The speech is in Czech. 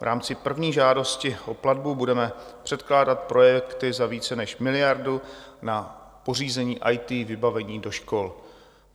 V rámci první žádosti o platbu budeme předkládat projekty za více než miliardu na pořízení IT vybavení do škol.